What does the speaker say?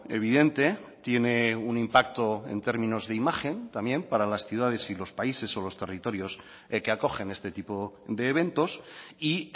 evidente tiene un impacto en términos de imagen también para las ciudades y los países o los territorios que acogen este tipo de eventos y